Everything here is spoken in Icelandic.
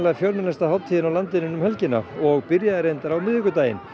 fjölmennasta hátíð á landinu um helgina og byrjaði reyndar á miðvikudaginn